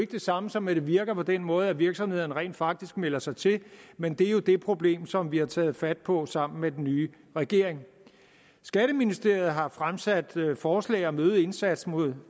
det samme som at det virker på den måde at virksomhederne rent faktisk melder sig til men det er jo det problem som vi har taget fat på sammen med den nye regering skatteministeriet har fremsat forslag om en øget indsats mod